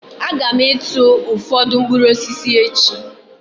Aga m ịtụ ụfọdụ mkpụrụ osisi echi